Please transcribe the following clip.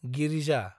Girija